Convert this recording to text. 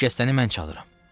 O şikəstəni mən çalıram.